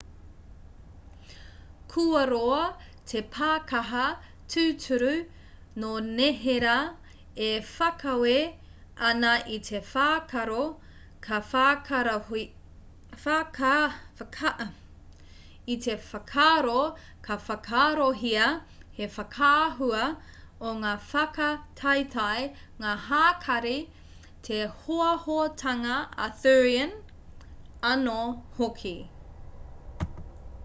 kua roa te pākaha tūturu nō neherā e whakaawe ana i te whakaaro ka whakaarohia he whakaahua o ngā whakataetae ngā hākari te hoahoatanga arthurian anō hoki